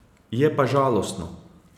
Je pa žalostno.